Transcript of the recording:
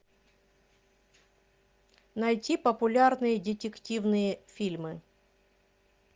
найти популярные детективные фильмы